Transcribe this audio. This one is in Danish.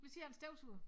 Nu siger jeg en støvsuger